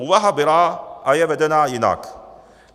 Úvaha byla a je vedena jinak.